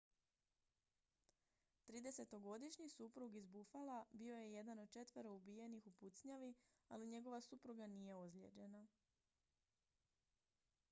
tridesetogodišnji suprug iz buffala bio je jedan od četvero ubijenih u pucnjavi ali njegova supruga nije ozlijeđena